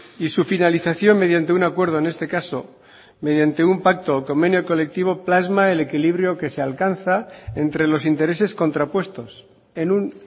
y su finalización mediante un acuerdo en este caso mediante un pacto o convenio colectivo plasma el equilibrio que se alcanza entre los intereses contrapuestos en un